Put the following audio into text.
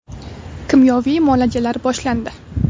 Kimyoviy muolajalar boshlandi.